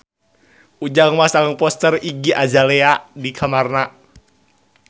Ujang masang poster Iggy Azalea di kamarna